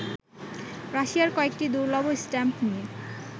রাশিয়ার কয়েকটি দুর্লভ স্ট্যাম্প নিয়ে